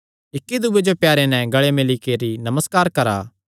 इक्की दूये जो प्यारे नैं गल़े मिल्ली करी नमस्कार करा